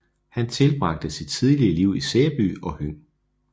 Han tilbragte sit tidlige liv i Sæby og Høng